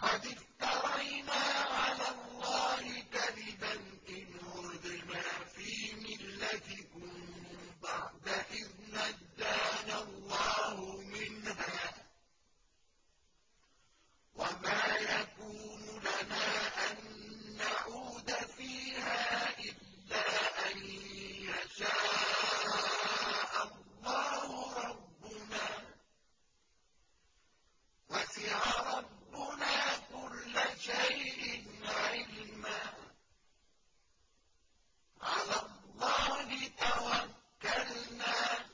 قَدِ افْتَرَيْنَا عَلَى اللَّهِ كَذِبًا إِنْ عُدْنَا فِي مِلَّتِكُم بَعْدَ إِذْ نَجَّانَا اللَّهُ مِنْهَا ۚ وَمَا يَكُونُ لَنَا أَن نَّعُودَ فِيهَا إِلَّا أَن يَشَاءَ اللَّهُ رَبُّنَا ۚ وَسِعَ رَبُّنَا كُلَّ شَيْءٍ عِلْمًا ۚ عَلَى اللَّهِ تَوَكَّلْنَا ۚ